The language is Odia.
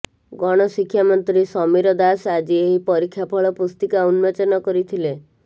ଗଣଶିକ୍ଷା ମନ୍ତ୍ରୀ ସମୀର ଦାଶ ଆଜି ଏହି ପରୀକ୍ଷା ଫଳ ପୁସ୍ତିକା ଉନ୍ମୋଚନ କରିଥିଲେ